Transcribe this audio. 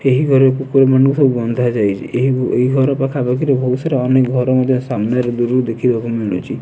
ଏହି ଘରେ କୁକୁର ମାନଙ୍କୁ ସବୁ ବନ୍ଧା ଯାଇଛି ଏହି ଘର ପାଖାପାଖି ରେ ବହୁ ସାରା ଅନେକ ଘର ମଧ୍ୟ ସାମ୍ନାରେ ଦୂରରୁ ଦେଖିବାକୁ ମିଳୁଛି।